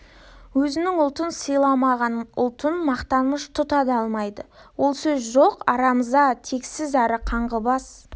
өзінің ұлтын сыйламаған ұлтын мақтаныш тұта да алмайды ол сөз жоқ арамза тексіз әрі қаңғыбас